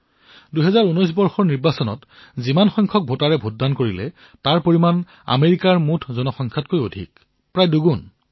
যিসকল ভোটদাতাই ২০১৯ চনত লোকসভা নিৰ্বাচনত ভোটদান কৰিছে তেওঁলোকৰ সংখ্যা আমেৰিকাৰ মুঠ জনসংখ্যাতকৈও অধিক প্ৰায় দুগুণ